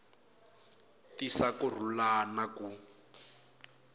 tisa ku rhula na ku